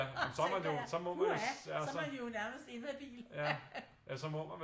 Tænker jeg puha så man jo nærmest inhabil